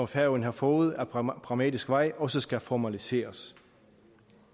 færøerne har fået ad pragmatisk vej også skal formaliseres